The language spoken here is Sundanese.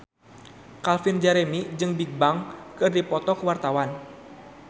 Calvin Jeremy jeung Bigbang keur dipoto ku wartawan